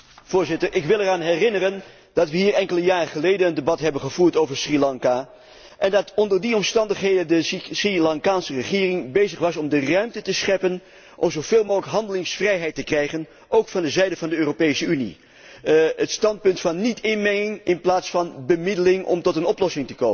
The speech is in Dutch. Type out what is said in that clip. Ik wil eraan herinneren dat wij hier enkele jaren geleden een debat hebben gevoerd over Sri Lanka en dat onder die omstandigheden de Sri Lankaanse regering bezig was om de ruimte te scheppen om zoveel mogelijk handelingsvrijheid te krijgen, ook van de zijde van de Europese Unie, het standpunt van niet inmenging in plaats van bemiddeling om tot een oplossing te komen.